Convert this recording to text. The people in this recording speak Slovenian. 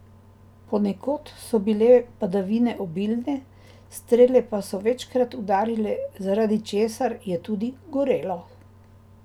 Ponekod so bile padavine obilne, strele pa so večkrat udarile, zaradi česar je tudi gorelo.